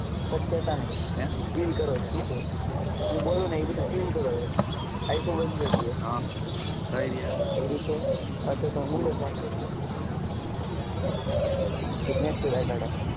પછ કેતા નઈ હે feel કરો સીધો હું બોલું ને એ બધું feel કરો આયખો બંદ કરીદયો હ કરી હવે કયરી છે અચ્છા તો ધીમે થી બાર કાડો.